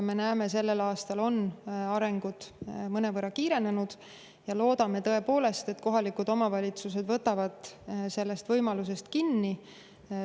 Me näeme, et sellel aastal on arengud mõnevõrra kiirenenud, ja loodame, et tõepoolest, kohalikud omavalitsused haaravad sellest võimalusest kinni.